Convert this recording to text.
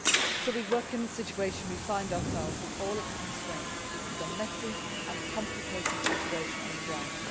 So we work in the situation we find ourselves in, with all its constraints. This is a messy and complicated situation on the ground.